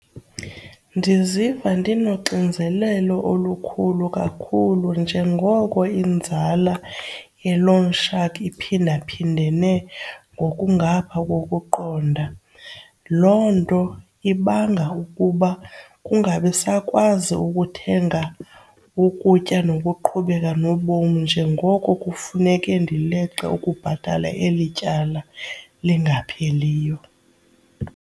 Ndiziva ndinoxinzelelo olukhulu kakhulu njengoko inzala ye-loan shark iphindaphindene ngokungapha kokuqonda. Loo nto ibanga ukuba kungabi sakwazi ukuthenga ukutya nokuqhubeka nobom njengoko kufuneke ndileqe ukubhatala eli tyala lingapheliyo.